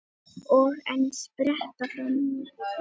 Og enn spretta fram ný.